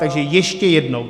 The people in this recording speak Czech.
Takže ještě jednou.